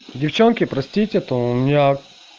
девчонки простите то у меня